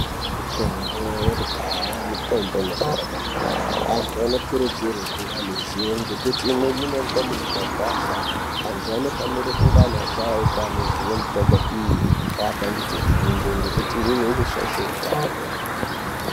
Mitombo yekudhaya mitombo inoshanda maningi antu anokurudzirwe kunge ane ruzivo ngekuti inoonekwa mumakwasha .Antu anofanira kuve ari asharukwa anoziva mitombo iyi ovapandudze fundo ngekuti imweni inoshaisha utano.